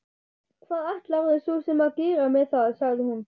Hvað ætlarðu svo sem að gera með það, sagði hún.